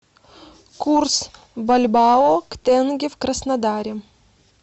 курс бальбоа к тенге в краснодаре